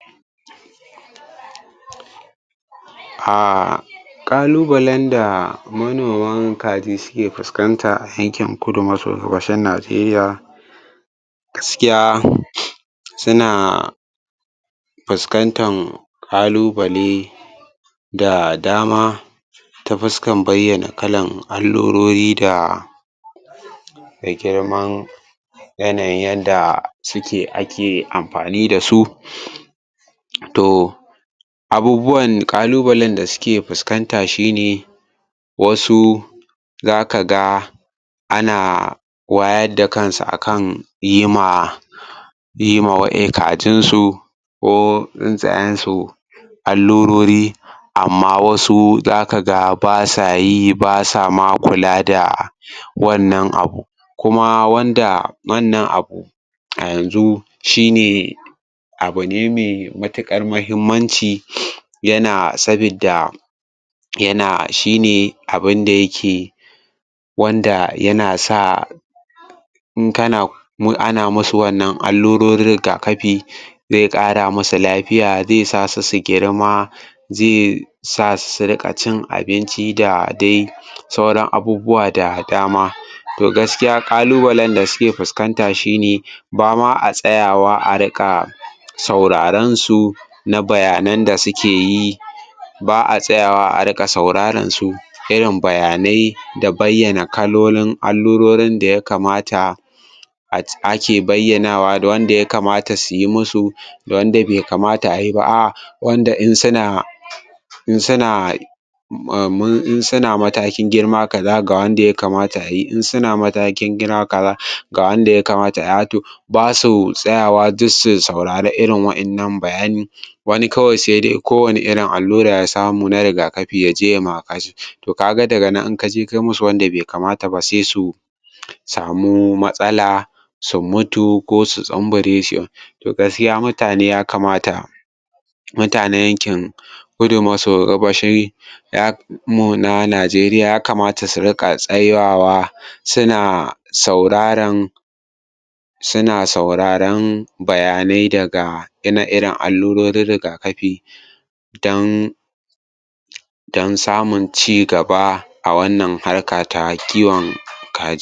A ƙalubalen da manoman kaji suke fuskanta a yankin kudu maso gabashin Najeriya gaskiya suna fuskantar ƙalubale da dama ta fuskan bayyana kalan allurori da girman yanayin yanda suke ake amfani da su to abubuwan ƙalubalen da suke fuskanta shi ne wasu za ka ga ana wayar da kansu akan yi ma yima wa e kajinsu ko tsintsayensu allurori amma wasu ba sa yi ba sama kula da wannan abu kuma wanda wannan abu a yanzu shi ne abu ne mai matuƙar muhimmanci yana saboda yana shi ne abida yake wanda yana sa in kana in ana masu wannan allurorin riga kafin zai ƙara masa lafiya zai sa su su girma zai sa su su riƙa cin abinci da dai sauran abubuwan da dama to gaskiya ƙalubalen da suke fuskanta shi ne ba ma a tsayawa a riƙa sauraransu na bayanan da suke yi ba a tsaya wa a riƙa sauraransu irin bayanai da bayyana kalolin allurorin da ya kamata a ke bayyanawa wanda ya kamata su yi musu da wanda bai kamata a yi ba ai wanda in suna in suna in suna matakin girma kaza ga wanda ya kamata ta a yi in suna matakin girma kaza ga wanda ya kamata a to ba su tsayawa duk su saurari irin wanna bayanin wani kawai saidai duk wane irin allura ya samu na riga kafi ya je yai ma to kaga daga nan in kaje kai musu wanda bai kamata ba sai su samu matsala su mutu ko su tsumbure to gaskiya mutane ya kamata mutanen yankin kudu maso gabashi ya na mu na Najeriya ya kamata su riƙa tsayawa suna sauraran suna sauraron bayanai daga ire iren allurorin riga kafi dan don samun ci gaba a wannan har ta kiwon kaji.